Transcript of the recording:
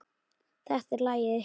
Þetta er lagið ykkar.